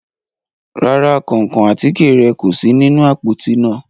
Ràrà, kánkán àtike rẹ ko si ninu apoti naa